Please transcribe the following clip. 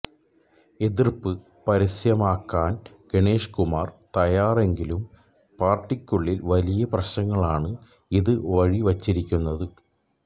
എതിര്പ്പ് പരസ്യമാക്കാന് ഗണേഷ് കുമാര് തയാറല്ലെങ്കിലും പാര്ട്ടിക്കുളളില് വലിയ പ്രശ്നങ്ങള്ക്കാണ് ഇത് വഴിവച്ചിരിക്കുന്നത്